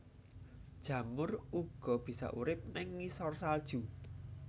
Jamur uga bisa urip ing ngisor salju